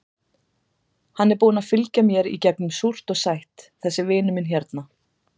Hann er búinn að fylgja mér í gegnum súrt og sætt, þessi vinur minn hérna.